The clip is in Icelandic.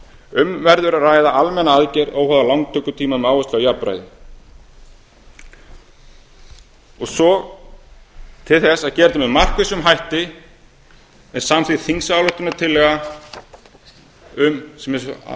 um verður að ræða almenna aðgerð óháða lántökutíma með áherslu á jafnræði til þess að gera þetta með markvissum hætti er samþykkt þingsályktunartillaga sem er